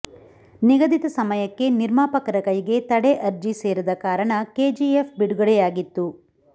ನಿಗದಿತ ಸಮಯಕ್ಕೆ ನಿರ್ಮಾಪಕರ ಕೈಗೆ ತಡೆ ಅರ್ಜಿ ಸೇರದ ಕಾರಣ ಕೆಜಿಎಫ್ ಬಿಡುಗಡೆಯಾಗಿತ್ತು